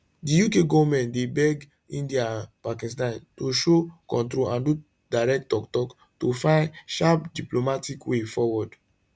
di uk goment dey beg india and pakistan to show control and do direct tok tok to fins sharp diplomatic way forward